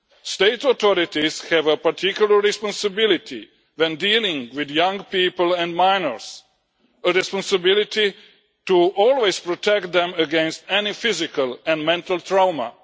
State authorities have a particular responsibility when dealing with young people and minors, a responsibility to always protect them against any physical and mental trauma.